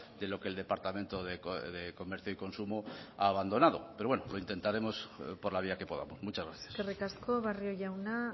de lo que el departamento de comercio y consumo ha abandonado pero bueno lo intentaremos por la vía que podamos muchas gracias eskerrik asko barrio jauna